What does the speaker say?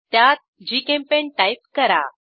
त्यात GChemPaint type करा